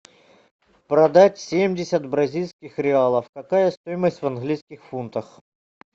продать семьдесят бразильских реалов какая стоимость в английских фунтах